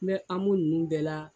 N bɛ AMO nunnu bɛɛ la.